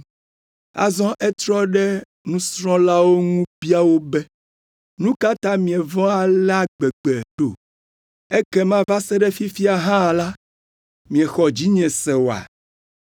Azɔ etrɔ ɖe nusrɔ̃lawo ŋu bia wo be, “Nu ka ta mievɔ̃ alea gbegbe ɖo? Ekema va se ɖe fifia hã la, miexɔ dzinye se oa?”